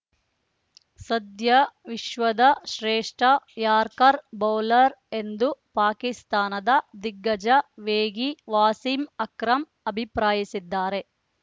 ಸದ್ಯ ವಿಶ್ವದ ಶ್ರೇಷ್ಠ ಯಾರ್ಕರ್ ಬೌಲರ್‌ ಎಂದು ಪಾಕಿಸ್ತಾನದ ದಿಗ್ಗಜ ವೇಗಿ ವಾಸೀಂ ಅಕ್ರಮ್‌ ಅಭಿಪ್ರಾಯಿಸಿದ್ದಾರೆ